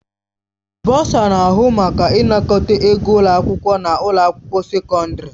Bọsa na-ahụ maka ịnakọta ego ụlọ akwụkwọ na ụlọ akwụkwọ sekọndrị.